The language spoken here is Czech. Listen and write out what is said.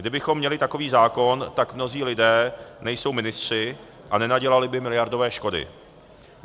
Kdybychom měli takový zákon, tak mnozí lidé nejsou ministři a nenadělali by miliardové škody.